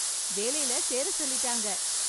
வேலையில சேர சொல்லிட்டாங்க